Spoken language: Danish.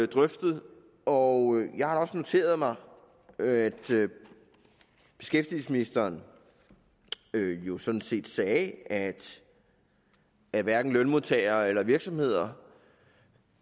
drøftet og jeg har da også noteret mig at beskæftigelsesministeren jo sådan set sagde at at hverken lønmodtagerne eller virksomhederne